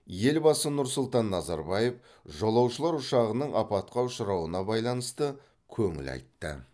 елбасы нұр сұлтан назарбаев жолаушылар ұшағының апатқа ұшырауына байланысты көңіл айтты